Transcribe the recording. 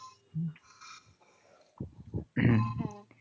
হ্যাঁ।